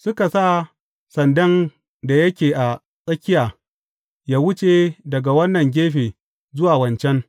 Suka sa sandan da yake a tsakiya yă wuce daga wannan gefe zuwa wancan.